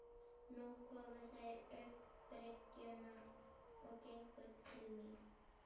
Nú komu þeir upp bryggjuna og gengu til mín.